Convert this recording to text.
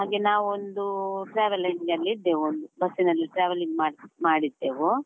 ಹಾಗೆ ನಾವೊಂದು travelling ಅಲ್ಲಿ ಇದ್ದೆವು, ಬಸ್ಸಿನಲ್ಲಿ travelling ಮಾಡ್~ ಮಾಡಿದ್ದೆವು.